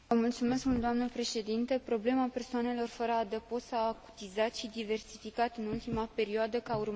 Problema persoanelor fără adăpost s a acutizat și diversificat în ultima perioadă, ca urmare a crizei economice.